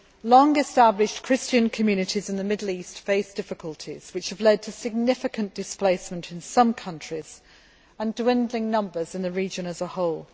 Long established Christian communities in the Middle East face difficulties which have led to significant displacement in some countries and to a dwindling of numbers in the region as a whole.